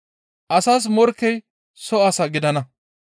Asas morkkey soo asaa gidana.